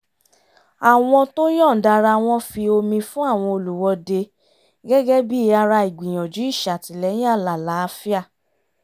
àwọn tó yọ̀ǹda ara wọn fi omi fún àwọn olùwọ́dé gẹ́gẹ́ bí i ara ìgbìyànjú ìṣàtìlẹ́yìn alálàáfíà